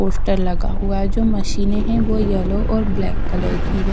Poster लगा हुआ है जो मशीने है वो येलो और ब्लैक कलर की है।